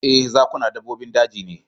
Ee, zakuna dabbobin daji ne